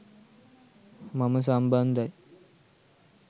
මම සම්බන්ධයි.